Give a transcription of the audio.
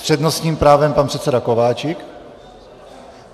S přednostním právem pan předseda Kováčik.